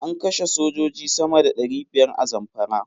An kashe sojoji sama da ɗari biyar a Zamfara.